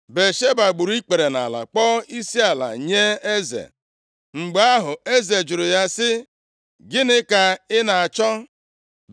Batsheba gburu ikpere nʼala, kpọọ isiala nye eze. Mgbe ahụ, eze jụrụ ya sị, “Gịnị ka ị na-achọ?”